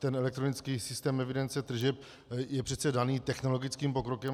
Ten elektronický systém evidence tržeb je přece daný technologickým pokrokem.